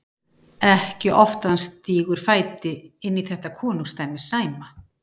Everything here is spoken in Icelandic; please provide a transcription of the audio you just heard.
Ekki oft að hann stígur fæti inn í þetta konungdæmi Sæma.